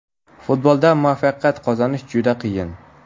Futbolda muvaffaqiyat qozonish juda qiyin.